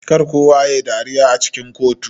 Kar kowa yayi dariya a cikin kotu.